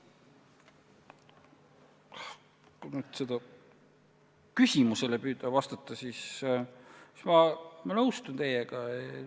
Kui püüda nüüd küsimusele vastata, siis ma nõustun teiega.